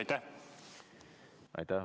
Aitäh!